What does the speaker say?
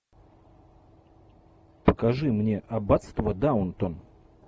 покажи мне аббатство даунтон